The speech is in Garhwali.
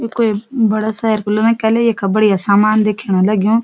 यू कोई बड़ा शहर कु लगणी के ले यख बढ़िया सामान दिखेण लग्युं।